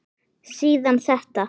Síðan þetta